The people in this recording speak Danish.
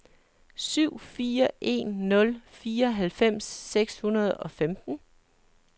syv fire en nul fireoghalvfems seks hundrede og femten